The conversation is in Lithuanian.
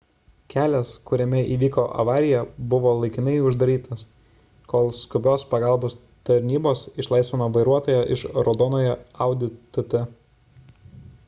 kelias kuriame įvyko avarija buvo laikinai uždarytas kol skubios pagalbos tarnybos išlaisvino vairuotoją iš raudonojo audi tt